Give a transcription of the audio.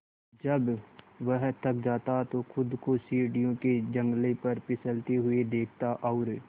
जब वह थक जाता तो खुद को सीढ़ियों के जंगले पर फिसलते हुए देखता और